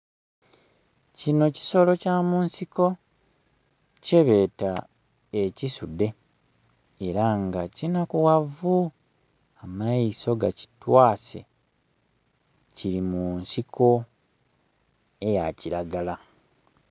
Kinho kisolo kya munsiko tyebeeta ekisudhe era nga kinakughavu, amaiso gakitwaase, kiri munsiko eyakiragala.